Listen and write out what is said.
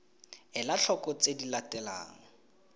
ela tlhoko tse di latelang